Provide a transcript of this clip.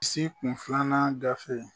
Si kunfilanan gafɛ